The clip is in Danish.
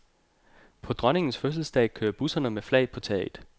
På dronningens fødselsdag kører busserne med flag på taget.